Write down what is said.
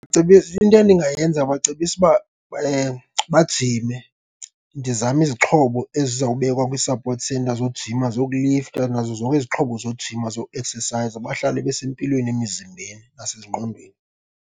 Into endingayenza ndizabacebisa uba bajime, ndizame izixhobo ezizawubekwa kwi-support center zojima, zokulifta, nazo zonke izixhobo zojima, zoeksesayiza bahlale besempilweni emizimbeni nasezingqondweni.